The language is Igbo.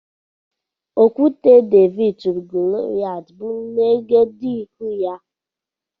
Okwute Devid turu Goloyat bụ n' egedegeihū ya.